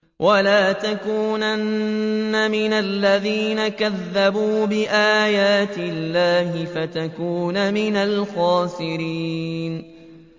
وَلَا تَكُونَنَّ مِنَ الَّذِينَ كَذَّبُوا بِآيَاتِ اللَّهِ فَتَكُونَ مِنَ الْخَاسِرِينَ